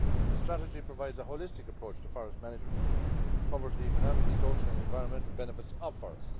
The strategy provides a holistic approach to forest management, it covers the economic, social and environmental benefits of forests.